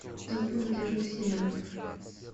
топ молодежных сериалов